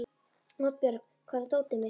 Oddbjörg, hvar er dótið mitt?